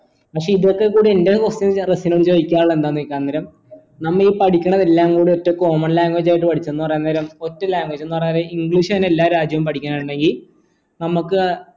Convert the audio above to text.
പക്ഷെ ഇതൊക്കെ കൂടെ എന്റെ question റസിനോട് ചോയ്ക്കാനുള്ളത് എന്താ ചെയ്ക അന്നേരം നമ്മള് ഈ പഠിക്കണത് എല്ലാം കൂടെ ഒറ്റ common language ആയിട്ട് പഠിച്ച എന്ന് പറയുന്നേരം ഒറ്റ language എന്ന് പറഞ്ഞാൽ english ആണ് എല്ലാ രാജ്യവും പഠിക്ക് ന്നേ ഇണ്ടേൽ നമുക്ക്